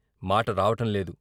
మాట రావటంలేదు.